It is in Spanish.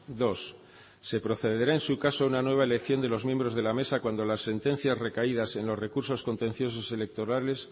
dos se procederá en su caso a una nueva elección de los miembros de la mesa cuando las sentencias recaídas en los recursos contenciosos electorales